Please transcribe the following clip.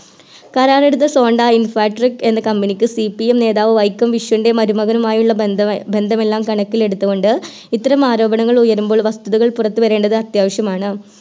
കരാറെടുത്ത Sonda infratech എന്ന Company ക്ക് CPM നേതാവ് വൈക്കം വിശ്വൻറെ മരുമകനുയമുള്ള ബന്ധമെ ബന്ധമെല്ലാം കണക്കിലെടുത്തുകൊണ്ട് ഇത്തരം ആരോപണങ്ങൾ ഉയരുമ്പോൾ വസ്തുതകൾ പുറത്തുവരേണ്ടത് അത്യാവശ്യമാണ്